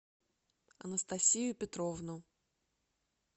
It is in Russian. анастасию петровну